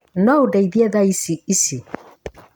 Noũndeithie thaici ici?